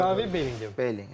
Qavi, Belingem.